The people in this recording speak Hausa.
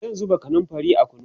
zan zuba kanumfari a kunu